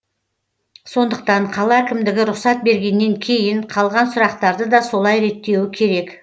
сондықтан қала әкімдігі рұқсат бергеннен кейін қалған сұрақтарды да солар реттеуі керек